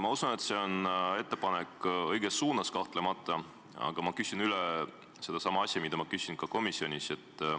Ma usun, et see on kahtlemata õige ettepanek, aga küsin üle sellesama asja, mida ma küsisin ka komisjonis.